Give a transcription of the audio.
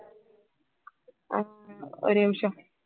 அஹ் ஒரு நிமிஷம்